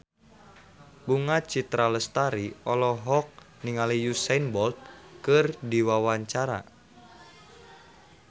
Bunga Citra Lestari olohok ningali Usain Bolt keur diwawancara